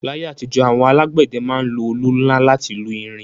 L'ayé àtijọ́, àwọn alágbẹ̀dẹ ma ń lo olù nla láti lu irin